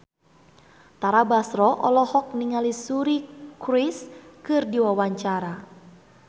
Tara Basro olohok ningali Suri Cruise keur diwawancara